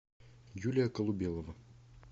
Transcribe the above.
юлия колубелова